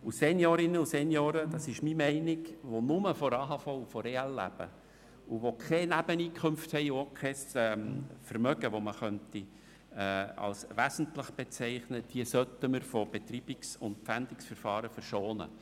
Und Seniorinnen und Senioren, und das ist meine Meinung, die nur von AHV und EL leben, die keine Nebeneinkünfte und auch kein Vermögen haben, das man als wesentlich bezeichnen könnte, diese sollte man Betreibungs- und Pfändungsverfahren verschonen.